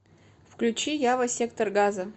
включи ява сектор газа